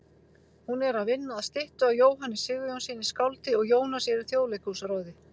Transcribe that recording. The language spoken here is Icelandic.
Hún er að vinna að styttu af Jóhanni Sigurjónssyni skáldi og Jónas er í Þjóðleikhúsráði.